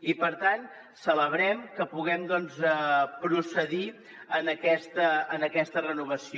i per tant celebrem que puguem doncs procedir en aquesta renovació